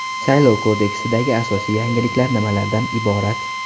Saylov kodeksidagi asosiy yangiliklar nimalardan iborat?.